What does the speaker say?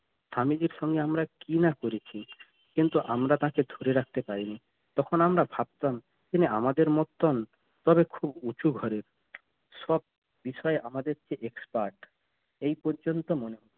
স্বামীজীর সঙ্গে আমরা কি না করেছি কিন্তু আমরা তাকে ধরে রাখতে পারিনি তখন আমরা ভাবতাম কিনা আমাদের মত্তন তবে খুব উঁচু ঘরের সব বিষয়ে আমাদের চেয়ে expert এই পর্যন্ত